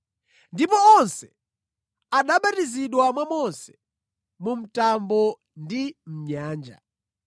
Ndipo onse anabatizidwa mwa Mose mu mtambo ndi mʼnyanja.